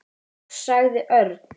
Loks sagði Örn.